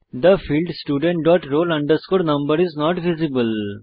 the field student dot roll number is not visible